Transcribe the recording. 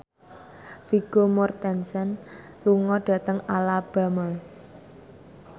Vigo Mortensen lunga dhateng Alabama